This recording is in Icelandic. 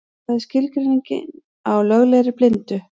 Hvað er skilgreiningin á löglegri blindu?